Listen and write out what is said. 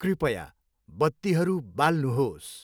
कृपया बत्तीहरू बाल्नुहोस्।